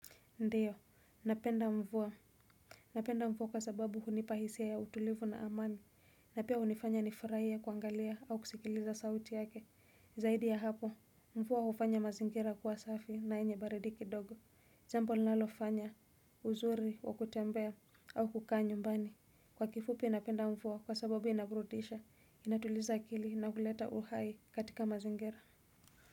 Ndiyo napenda mvua napenda mvua kwa sababu hunipa hisia ya utulivu na amani na pia hunifanya nifurahie kuangalia au kusikiliza sauti yake zaidi ya hapo. Mvua hufanya mazingira kuwa safi na yenye baridi kidogo jambo linalofanya uzuri wa kutembea au kukaa nyumbani. Kwa kifupi napenda mvua kwa sababu inaburudisha inatuliza akili na kuleta uhai katika mazingira.